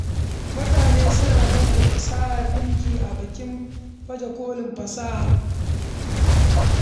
Mutane suna baje kolin fasahar dinki a bikin baje kolin sana’o’i.